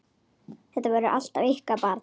Þetta verður alltaf ykkar barn.